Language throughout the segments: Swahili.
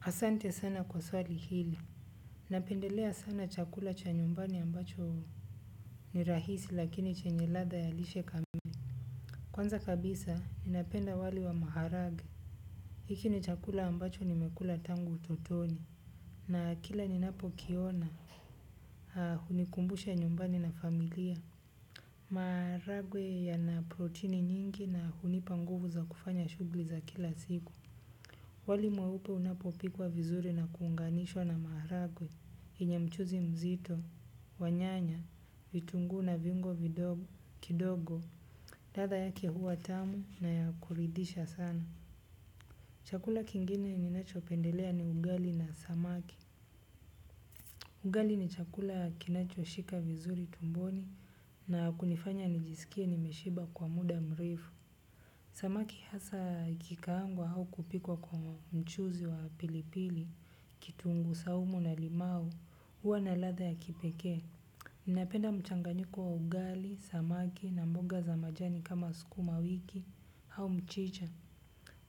Asante sana kwa swali hili. Napendelea sana chakula cha nyumbani ambacho ni rahisi lakini chenye ladha ya lishe kame. Kwanza kabisa, ninapenda wali wa maharage. Hiki ni chakula ambacho nimekula tangu utotoni. Na kila ninapokiona, aa, hunikumbusha nyumbani na familia. Maharagwe yana protini nyingi na hunipa nguvu za kufanya shugli za kila siku. Wali mweupe unapopikwa vizuri na kuunganishwa na maharagwe, yenye mchuzi mzito, wanyanya, vitunguu na viungo kidogo, radha yake huwa tamu naya kuridhisha sana. Chakula kingine ninacho pendelea ni ugali na samaki. Ugali ni chakula kinacho shika vizuri tumboni na kunifanya nijisikie nimeshiba kwa muda mrefu. Samaki hasa ikikaangwa au kupikwa kwa mchuzi wa pilipili, kitunguu saumu na limau, huwa na ladha ya kipekee. Ninapenda mchanganyiko wa ugali, samaki na mboga za majani kama sukuma wiki au mchicha.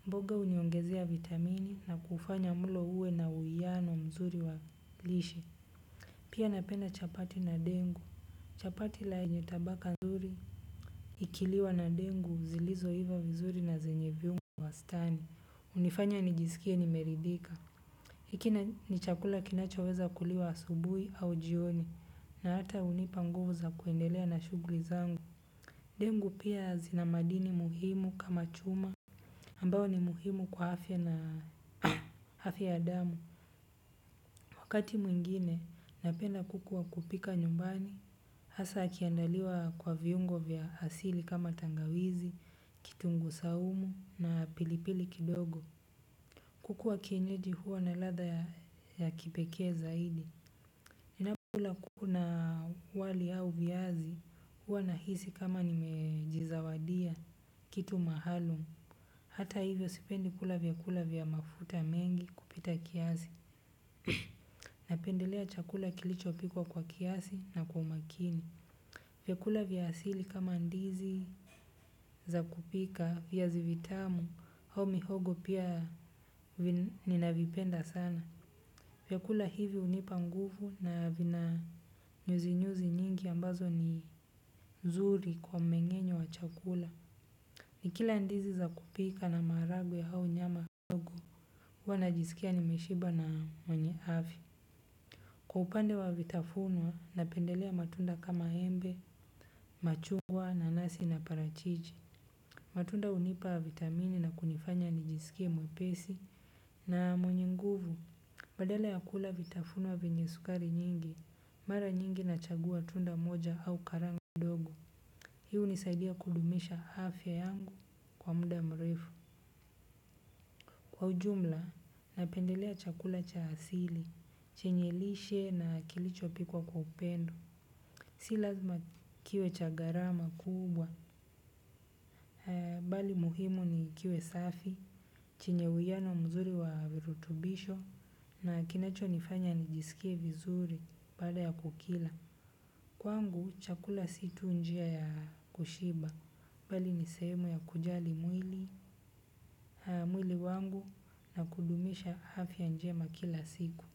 Mboga huniongezea vitamini na kufanya mlo uwe na uwiano mzuri wa lishe. Pia napenda chapati na dengu. Chapati lenye tabaka nzuri ikiliwa na dengu zilizo iva vizuri na zenye viungo wastani, hunifanya nijisikie nimeridhika. Ikina ni chakula kinacho weza kuliwa asubui au jioni na hata hunipa nguvu za kuendelea na shughli zangu. Dengu pia zinamadini muhimu kama chuma ambao ni muhimu kwa afya na afya ya damu. Wakati mwingine napenda kuku wa kupika nyumbani hasa akiandaliwa kwa viungo vya asili kama tangawizi, kitunguu saumu na pilipili kidogo. Kuku wa kienyeji huwa na ladha ya kipekee zaidi. Ninapo kula kuna wali au viazi huwa na hisi kama nimejizawadia kitu maalum. Hata hivyo sipendi kula vyakula vya mafuta mengi kupita kiasi napendelea chakula kilichopikwa kwa kiasi na kwa umakini. Vyakula vya asili kama ndizi za kupika viazi vitamu au mihogo pia ninavipenda sana vyakula hivi hunipa nguvu na vina nyuzi nyuzi nyingi ambazo ni nzuri kwa mmeng'enyo wa chakula. Ni kila ndizi za kupika na maharagwe yau nyama huwa najisikia nimeshiba na mwenye afya. Kwa upande wa vitafunwa na pendelea matunda kama embe, machungwa nanasi na parachichi. Matunda hunipa vitamini na kunifanya nijisikie mwepesi na mwenye nguvu. Badala ya kula vitafunwa vyenye sukari nyingi, mara nyingi na chagua tunda moja au karanga kidogo. Hii hunisaidia kudumisha afya yangu kwa muda mrefu. Kwa ujumla, napendelea chakula cha asili, chenye lishe na kilicho pikwa kwa upendo. Si lazima kiwe cha gharama kubwa. Bali muhimu ni kiwe safi, chenye uwiano mzuri wa virutubisho na kinacho nifanya nijisikie vizuri baada ya kukila. Kwangu chakula si tu njia ya kushiba bali ni sehemu ya kujali mwili wangu na kudumisha afya njema kila siku.